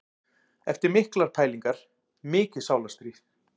Eftir miklar pælingar, mikið sálarstríð.